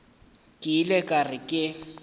ke ile ka re ke